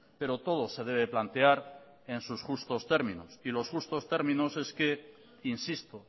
pero todo se debe plantear en sus justos términos y los justos términos es que insisto